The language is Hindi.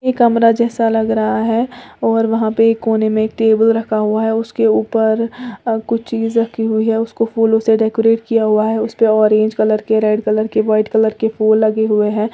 कमरा जैसा लग रहा है और वहां पे कोने में एक टेबल रखा हुआ है उसके ऊपर कुछ चीज रखी हुई है उसको फूलों से डेकोरेट किया हुआ है उसे पर ऑरेंज कलर के रेड कलर के व्हाइट कलर के फूल लगे हुए हैं।